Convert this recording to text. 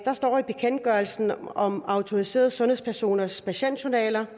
står i bekendtgørelsen om autoriserede sundhedspersoners patientjournaler